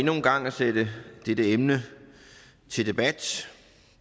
endnu en gang at sætte dette emne til debat